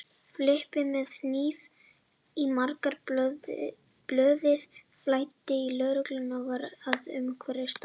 Filippseyingur með hníf í maganum, blóðið flæddi og lögreglan var að umkringja staðinn.